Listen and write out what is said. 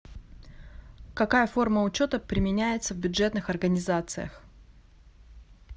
какая форма учета применяется в бюджетных организациях